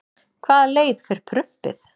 hvaða leið fer prumpið